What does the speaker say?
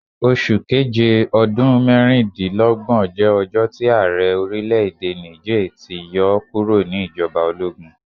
Oṣu Keje ọdun mẹrindinlọgbọn jẹ ọjọ ti aarẹ orilẹ-ede Niger ti yọ ọ kuro ni ijọba ologun